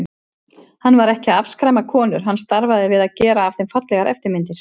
Hann var ekki að afskræma konur, hann starfaði við að gera af þeim fallegar eftirmyndir.